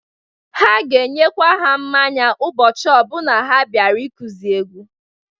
Ha ga-enyekwa ha mmanya ụbọchị ọbụna ha bịara ịkụzị egwu.